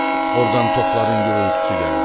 Ordan topların gurultusu gəlir.